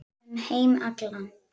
Um heim allan.